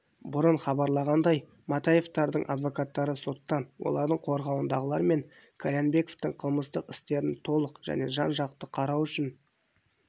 бұрын хабарланғандай матаевтардың адвокаттары соттан олардың қорғауындағылар мен қальянбековтің қылмыстық істерін толық және жан-жақты қарау үшін